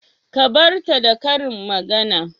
Ka bar ta da karin magana